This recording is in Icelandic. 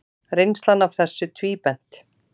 Reynslan af þessu tvíbent.